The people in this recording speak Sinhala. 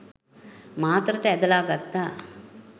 මාතරට ඇදලා ගත්තා.